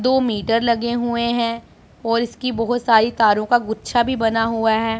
दो मीटर लगे हुए हैं और इसकी बहोत सारी तारों का गुच्छा भी बना हुआ है।